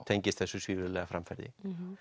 tengist þessu svívirðilega framferði